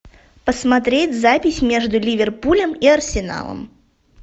посмотреть запись между ливерпулем и арсеналом